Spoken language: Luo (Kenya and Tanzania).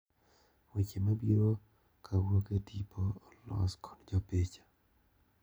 Weche mabiro kawuok e tipo olos kod Jopicha.